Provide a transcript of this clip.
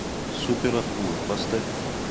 супер акула поставь